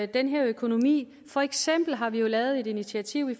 den økonomi for eksempel har vi lavet et initiativ